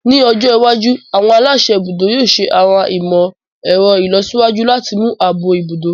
Ní ọjọ́ iwájú, àwọn aláṣẹ ibùdó yóò ṣẹ àwọn ìmọ̀ ẹ̀rọ ìlọsíwájú láti mú ààbò ibùdó